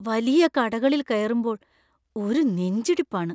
വലിയ കടകളിൽ കയറുമ്പോൾ ഒരു നെഞ്ചിടിപ്പാണ്.